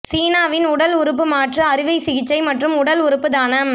சீனாவின் உடல் உறுப்பு மாற்று அறுவை சிகிச்சை மற்றும் உடல் உறுப்பு தானம்